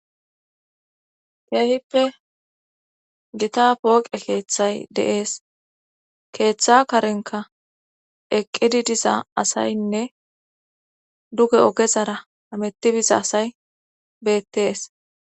keehippe gita pooqe keeththay de7es keeththa karenka eqqidi diza asaynne duge ogezara hameti biza asay beettees